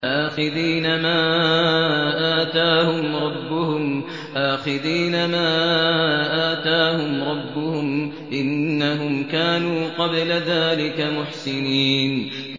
آخِذِينَ مَا آتَاهُمْ رَبُّهُمْ ۚ إِنَّهُمْ كَانُوا قَبْلَ ذَٰلِكَ مُحْسِنِينَ